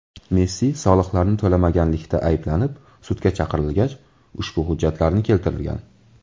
Messi soliqlarni to‘lamaganlikda ayblanib, sudga chaqirilgach, ushbu hujjatlarni keltirgan.